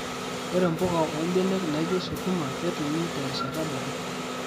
Ore mpuka ombenek naijo sukuma ketumi terishata dorop.